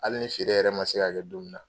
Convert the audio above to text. Hali ni feere yɛrɛ ma se ka kɛ don min na.